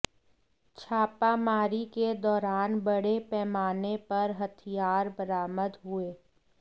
छापामारी के दौरान बड़े पैमाने पर हथियार बरामद हुए